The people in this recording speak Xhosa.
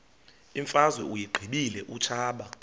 imfazwe uyiqibile utshaba